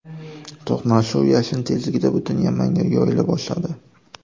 To‘qnashuv yashin tezligida butun Yamanga yoyila boshladi.